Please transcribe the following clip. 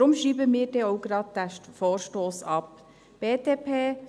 deshalb schreiben wir den Vorstoss auch gleich ab.